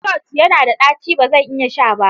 Stout yana da ɗaci, ba zan iya sha ba.